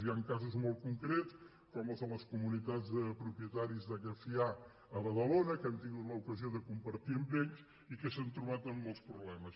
hi han casos molt concrets com els de les comunitats de propietaris de llefià a badalona que hem tingut l’ocasió de compartir amb ells i que s’han trobat amb molts problemes